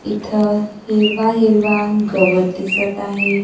इथं हिरवा-हिरवा गवत दिसतं आहे.